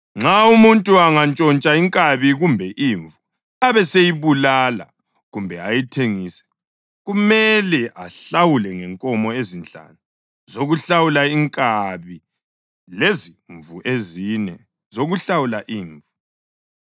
“Nxa umuntu angantshontsha inkabi kumbe imvu abeseyibulala kumbe ayithengise, kumele ahlawule ngenkomo ezinhlanu zokuhlawula inkabi, lezimvu ezine zokuhlawula imvu.